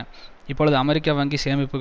வங்கி சேமிப்புக்களில் முழுமையான மூன்றில் ஒரு